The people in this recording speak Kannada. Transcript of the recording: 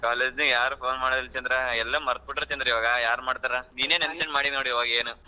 College ನ ಯಾರ್ phone ಮಾಡಲ್ಲ ಚಂದ್ರ ಎಲ್ಲ ಮರ್ತ್ ಬಿಟ್ಟರ್ ಚಂದ್ರ ಇವಾಗ ಯಾರ್ ಮಾಡ್ತಾರಾ ನೀನೆ ನೆನ್ಸ್ಕಂಡು ಮಾಡಿ ನೋಡು ಇವಾಗ ಏನ್.